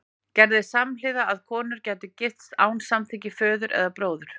Gerðist samhliða að konur gætu gifst án samþykkis föður eða bróður?